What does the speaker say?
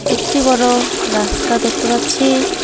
একটি বড়ো রাস্তা দেখতে পাচ্ছি।